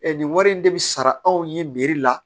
nin wari in de bi sara anw ye la